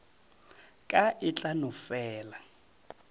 ka e tla no fela